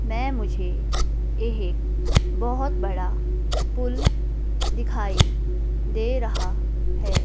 में मुझे एक बहोत बड़ा पुल दिखाई दे रहा है।